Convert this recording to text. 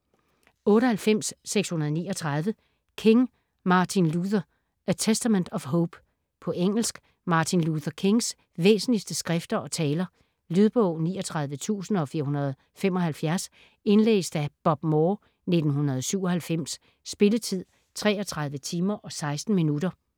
98.639 King, Martin Luther: A testament of hope På engelsk. Martin Luther Kings væsentligeste skrifter og taler. Lydbog 39475 Indlæst af Bob Moore, 1997. Spilletid: 33 timer, 16 minutter.